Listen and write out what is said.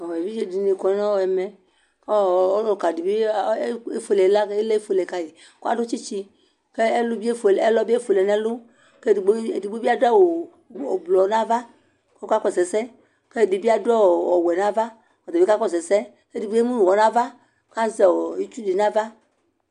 eʋɩɗjeɗɩnɩ aƙɔ nʊ ɛƒʊɛɗɩ ɔlʊtaɗɩ ƙʊ ɩla eƒʊeleƙaƴi ƙpanaɓʊɛ ɓɩɗʊ ɛƒʊɛ tsɩtsɩ ɗʊ emʊƙaƴɩ ɛlʊeƒʊeleƙaƴɩ ɛɗɩtaɗʊ awʊ aʋaʋlɩ ƙɔƙasʊ ɛsɛ ɛɗɩɓɩaɗʊ awʊ ɔwɛ nʊ aʋa ƙoƙasʊ ɛsɛ eɗɩgɓota emʊnʊ ɩtsʊnʊ aʋa